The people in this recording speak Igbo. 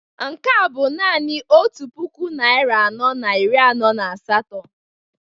Nke a bụ naanị otu puku naịra anọ na iri anọ na asatọ